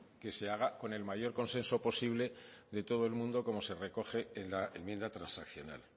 que se haga con el mayor consenso posible de todo el mundo como se recoge en la enmienda transaccional